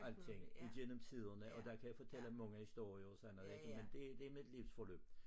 Alting igennem tiderne og der kan jeg fortælle mange historier og sådan noget ikke men det det mit livsforløb